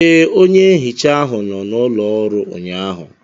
Ee, onye nhicha ahụ nọ n'ụlọ ọrụ ụnyaahụ